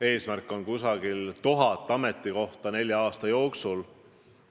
Eesmärk on umbes 1000 ametikohta nelja aasta jooksul.